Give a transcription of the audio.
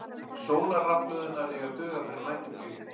Sólarrafhlöðurnar eiga að duga fyrir næturflugið